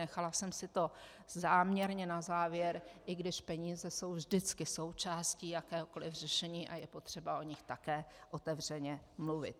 Nechala jsem si to záměrně na závěr, i když peníze jsou vždycky součástí jakéhokoliv řešení a je potřeba o nich také otevřeně mluvit.